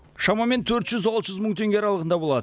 шамамен төрт жүз алты жүз мың теңге аралығында болады